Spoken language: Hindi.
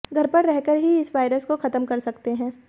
घर पर रहकर ही इस वायरस को खत्म कर सकते हैं